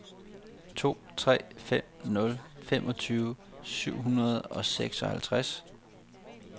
to tre fem nul femogtyve syv hundrede og seksoghalvtreds